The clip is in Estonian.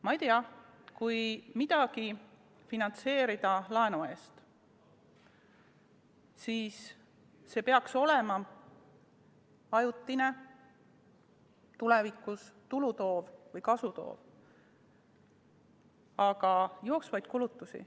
Ma ei tea, kui midagi finantseerida laenu eest, siis see peaks olema ajutine, tulevikus tulu või kasu toov, aga jooksvaid kulutusi ...